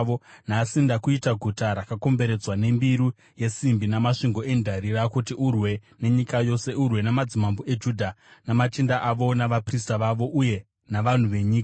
Nhasi ndakuita guta rakakomberedzwa nembiru yesimbi namasvingo endarira, kuti urwe nenyika yose, urwe namadzimambo eJudha, namachinda avo, navaprista vavo uye navanhu venyika.